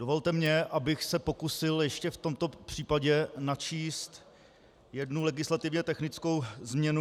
Dovolte mi, abych se pokusil ještě v tomto případě načíst jednu legislativně technickou změnu.